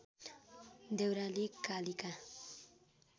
Deurali Kalika